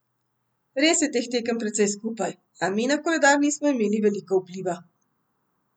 Res je teh tekem precej skupaj, a mi na koledar nismo imeli veliko vpliva.